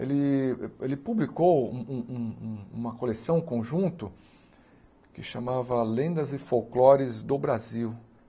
Ele ele publicou um um um uma coleção conjunto que se chamava Lendas e Folclores do Brasil.